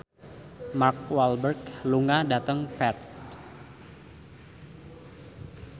Mark Walberg lunga dhateng Perth